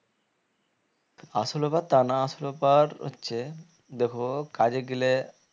আসলে তা না আসলে হচ্ছে দেখো কাজে গেলে